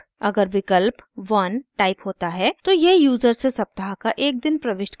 अगर विकल्प 1 टाइप होता है तो यह यूज़र से सप्ताह का एक दिन प्रविष्ट करने के लिए कहेगा